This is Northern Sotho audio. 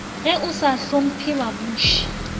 ge o sa hlopmphe babuši